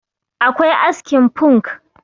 akwai askin funk